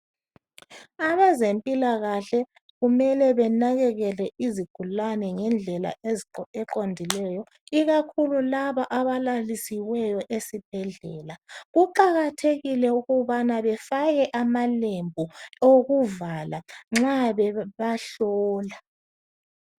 Abazemphilakahle, kumele benekekele izigulani ngendlela eqondileyo. Ikakhulu laba abalalisiweyo esibhedlela. Kuqakathekile ukubana befake amalembu okuvala nxa bebahlola.